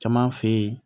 Caman fe yen